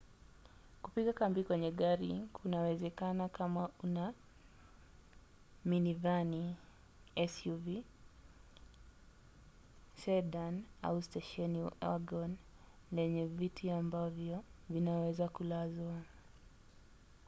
kupiga kambi kwenye gari kunawezekana kama una minivani suv sedan au stesheni wagon lenye viti ambavyo vinaweza kulazwa